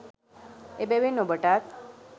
එබැවින් ඔබටත්